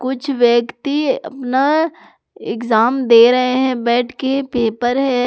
कुछ व्यक्ति अपना एग्जाम दे रहे हैं बैठ के पेपर है।